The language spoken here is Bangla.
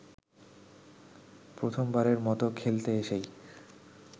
প্রথমবারের মতো খেলতে এসেই